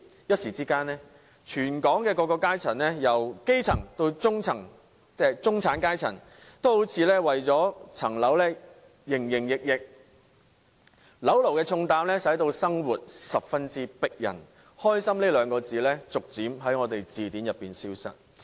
一時之間，全港由基層到中產階層的各階層也為了置業而營營役役，當"樓奴"的重擔令香港人生活更艱難，"開心"二字逐漸在我們的字典中消失。